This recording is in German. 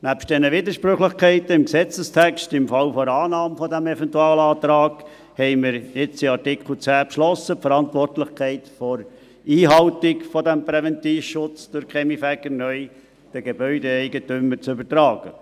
Neben diesen Widersprüchlichkeiten im Gesetzestext, im Falle einer Annahme des Eventualantrags, haben wir in Absatz 10 beschlossen, die Verantwortlichkeit der Einhaltung des Präventivschutzes durch die Kaminfeger neu den Gebäudeeigentümern zu übertragen.